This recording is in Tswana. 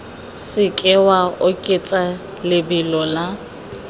seke wa oketsa lebelo la